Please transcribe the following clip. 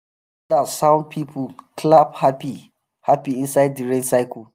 once thunder sound people clap happy-happy inside the rain circle.